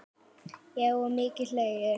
Já og mikið hlegið.